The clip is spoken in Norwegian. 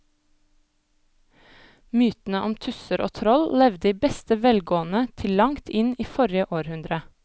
Mytene om tusser og troll levde i beste velgående til langt inn i forrige århundre.